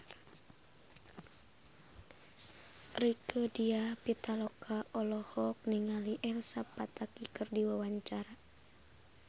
Rieke Diah Pitaloka olohok ningali Elsa Pataky keur diwawancara